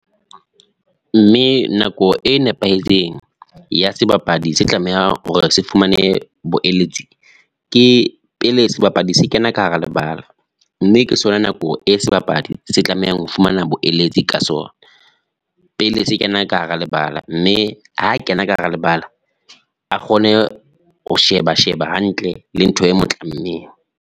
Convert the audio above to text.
Mme nako e nepahetseng ya sebapadi se tlameha hore se fumane boeletsi, ke pele sebapadi se kena ka hara lebala, mme ke sona nako e sebapadi se tlamehang ho fumana boeletsi ka sona pele se kena ka hara lebala, mme ha kena ka hara lebala a kgone ho sheba sheba hantle le ntho e mo tlamme.